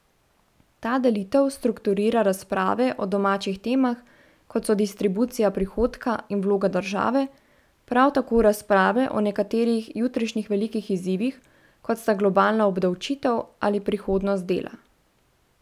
Ta delitev strukturira razprave o domačih temah, kot so distribucija prihodka in vloga države, prav tako razprave o nekaterih jutrišnjih velikih izzivih, kot sta globalna obdavčitev ali prihodnost dela.